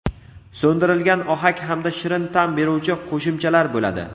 so‘ndirilgan ohak hamda shirin ta’m beruvchi qo‘shimchalar bo‘ladi.